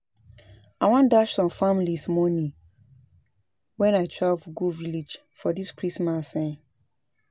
I wan dash some families money wen I travel go village for dis christmas um